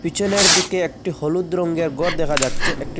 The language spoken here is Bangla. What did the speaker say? পিছনের দিকে একটি হলুদ রংগের ঘর দেখা যাচ্ছে একটি--